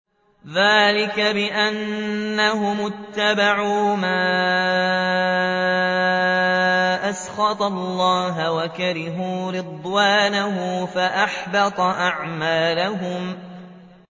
ذَٰلِكَ بِأَنَّهُمُ اتَّبَعُوا مَا أَسْخَطَ اللَّهَ وَكَرِهُوا رِضْوَانَهُ فَأَحْبَطَ أَعْمَالَهُمْ